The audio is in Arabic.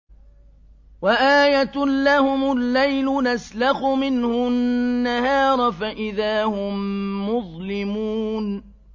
وَآيَةٌ لَّهُمُ اللَّيْلُ نَسْلَخُ مِنْهُ النَّهَارَ فَإِذَا هُم مُّظْلِمُونَ